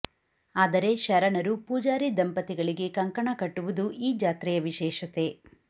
ಆದರೆ ಶರಣರು ಪೂಜಾರಿ ದಂಪತಿಗಳಿಗೆ ಕಂಕಣ ಕಟ್ಟುವುದು ಈ ಜಾತ್ರೆಯ ವಿಶೇಷತೆ